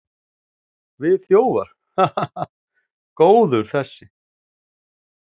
Við þjófar, ha, ha, ha. góður þessi!